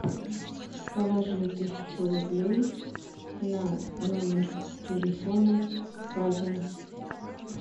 положи тысячу рублей на номер телефона катя